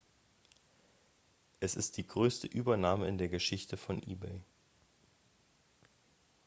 es ist die größte übernahme in der geschichte von ebay